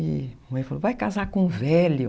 E a mãe falou, vai casar com um velho.